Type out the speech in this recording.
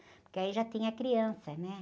Porque aí já tinha criança, né?